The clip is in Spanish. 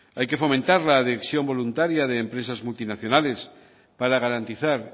hay que fomentar la adhesión voluntaria de empresas multinacionales para garantizar